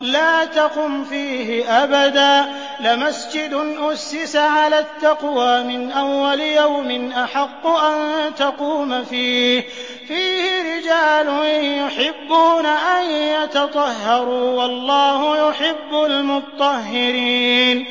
لَا تَقُمْ فِيهِ أَبَدًا ۚ لَّمَسْجِدٌ أُسِّسَ عَلَى التَّقْوَىٰ مِنْ أَوَّلِ يَوْمٍ أَحَقُّ أَن تَقُومَ فِيهِ ۚ فِيهِ رِجَالٌ يُحِبُّونَ أَن يَتَطَهَّرُوا ۚ وَاللَّهُ يُحِبُّ الْمُطَّهِّرِينَ